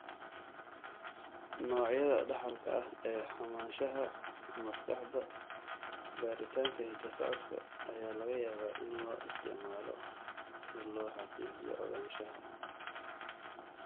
Noocyada dhaxalka ah ee xumaanshaha maskaxda, baaritaanka hidda-socodka ayaa laga yaabaa in loo isticmaalo si loo xaqiijiyo ogaanshaha.